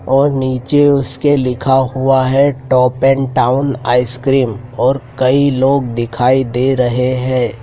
और नीचे उसके लिखा हुआ है टॉप एंड टाउन आइसक्रीम और कई लोग दिखाई दे रहे हैं।